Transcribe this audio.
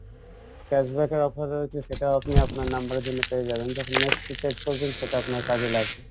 cash back এর offer রয়েছে সেটা আপনি আপনার number এর জন্য পেয়ে যাবেন যখন next recharge করবেন সেটা আপনার কাজে লাগবে